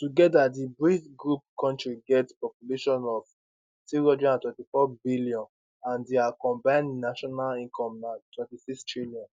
togeda di brics kontris get population of 324 billion and dia combined national income na 26trn